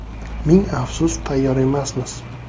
Ming afsus, tayyor emasmiz.